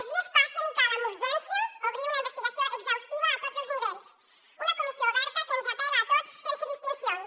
els dies passen i cal amb urgència obrir una investigació exhaustiva a tots els nivells una comissió oberta que ens apel·la a tots sense distincions